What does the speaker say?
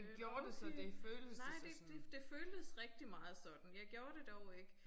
Øh måske nej det det det føltes rigtig meget sådan jeg gjorde dog ikke